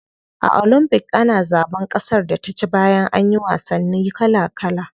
A olympics ana zaban kasar da ta ci bayan anyi wasanni kala kala.